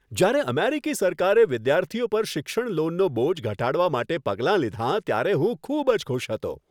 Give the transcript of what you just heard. જ્યારે અમેરિકી સરકારે વિદ્યાર્થીઓ પર શિક્ષણ લોનનો બોજ ઘટાડવા માટે પગલાં લીધાં ત્યારે હું ખૂબ જ ખુશ હતો.